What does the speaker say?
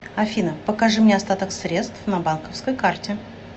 афина покажи мне остаток средств на банковской карте